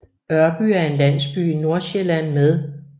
Ørby er en landsby i Nordsjælland med